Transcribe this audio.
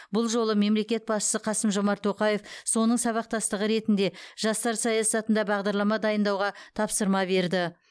бұл жолы мемлекет басшысы қасым жомарт тоқаев соның сабақтастығы ретінде жастар саясатында бағдарлама дайындауға тапсырма берді